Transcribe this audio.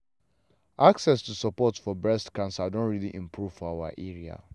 access to support for breast cancer don really improve for our area.